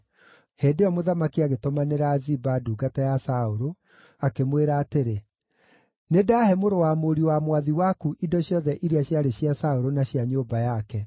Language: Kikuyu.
Hĩndĩ ĩyo mũthamaki agĩtũmanĩra Ziba, ndungata ya Saũlũ, akĩmwĩra atĩrĩ, “Nĩndahe mũrũ wa mũriũ wa mwathi waku indo ciothe iria ciarĩ cia Saũlũ na cia nyũmba yake.